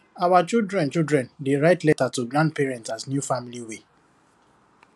our children children dey write letter to grandparent as new family way